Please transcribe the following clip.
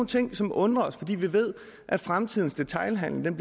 ting som undrer os fordi vi ved at fremtidens detailhandel i